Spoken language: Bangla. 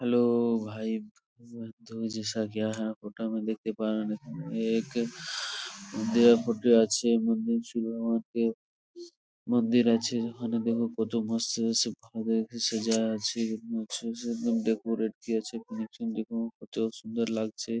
হ্যালো ভাই বন্ধু ফটো _তে দেখতে পারেন| এখানে এক আছে মন্দির সুড়ঙ্গ আছে মন্দির আছে যেখানে দেখো কত মস্ত আছে ভালো করে সাজাও আছে ডেকোরেট ভি আছে কানেকশন দেখো কত সুন্দর লাগছে।